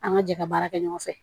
An ka jɛ ka baara kɛ ɲɔgɔn fɛ